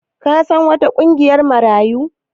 Ka san wata ƙungiyar Marayu?